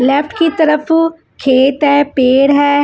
Left की तरफ खेत है पेड़ है।